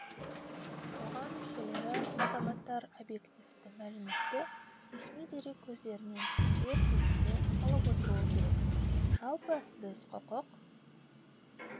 қоғам мүшелері азаматтар объективті мәліметті ресми дерек көздерінен дер кезінде алып отыруы керек жалпы біз құқық